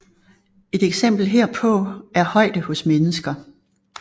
Et eksempel herpå er højde hos mennesker